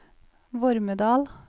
Vormedal